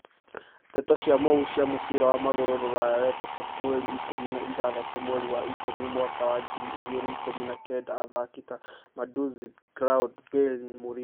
Ndeto cia mũhuhu cia mũbira wa magũrũ Rũraya wetatũ mweri ikũmi na ithathatũ mweri wa ikũmi mwaka wa ngiri igĩrĩ ikumi na kenda athaki ta Mandzuki, Ground, Bale, Mourinho